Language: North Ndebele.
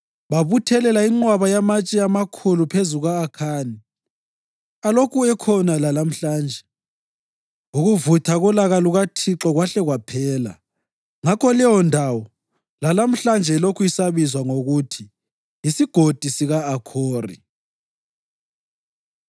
Babuthelela inqwaba yamatshe amakhulu phezu kuka-Akhani alokhu ekhona lalamhlanje. Ukuvutha kolaka lukaThixo kwahle kwaphela. Ngakho leyondawo lalamhlanje ilokhu isabizwa ngokuthi yisiGodi sika-Akhori.